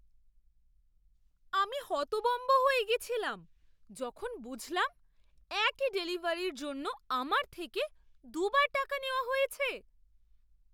আমি হতভম্ব হয়ে গেছিলাম যখন বুঝলাম একই ডেলিভারির জন্য আমার থেকে দুবার টাকা নেওয়া হয়েছে!